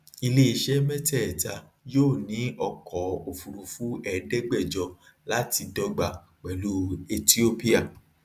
iléiṣẹ mẹtẹẹta yóò ní ọkọ òfurufú ẹẹdẹgbẹjọ láti dọgba pẹlú ethiopia